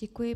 Děkuji.